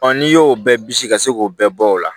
n'i y'o bɛɛ bisi ka se k'o bɛɛ bɔ o la